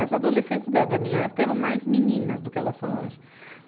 As adolescentes da, da minha época eram mais meninas do que elas são hoje.